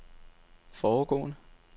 foregående